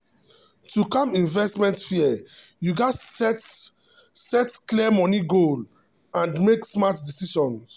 to calm investment fear you gats set set clear money goal and make smart decisions.